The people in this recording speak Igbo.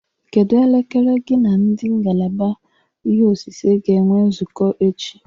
Kedụ elekere gị n'ndi ngalaba ihe osise ga-enwe nzukọ echi?